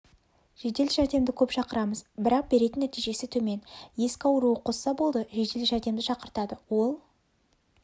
жедел жәрдемді көп шақырамыз бірақ беретін нәтижесі төмен ескі ауыруы қозса болды жедел жәрдемді шақыртады ол